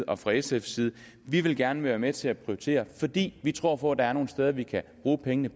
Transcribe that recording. og fra sfs side vi vil gerne være med til at prioritere fordi vi tror på der er nogle steder vi kan bruge pengene